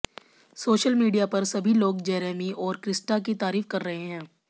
social media पर सभी लोग जेरेमी और क्रिस्टा की तारीफ कर रहे हैं